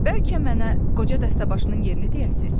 Bəlkə mənə qoca dəstəbaşının yerini deyərsiz?